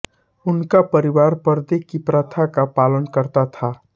उनका परिवार परदे की प्रथा का पालन करता था